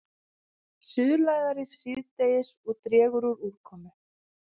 Suðlægari síðdegis og dregur úr úrkomu